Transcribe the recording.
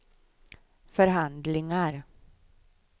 förhandlingar